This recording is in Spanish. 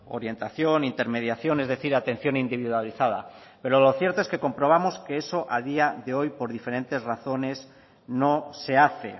orientación intermediación es decir atención individualizada pero lo cierto es que comprobamos que eso a día de hoy por diferentes razones no se hace